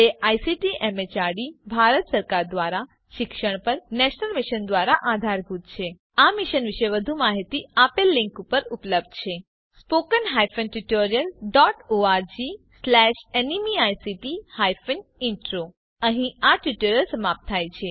જે ICT MHRD Bharat સરકાર દ્વારા શિક્ષણ પર નેશનલ મિશન દ્વારા આધારભૂત છે આ મિશન વિશે વધુ માહીતી આ લીંક ઉપર ઉપલબ્ધ છે httpspoken tutorialorgNMEICT Intro અહીં આ ટ્યુટોરીયલ સમાપ્ત થાય છે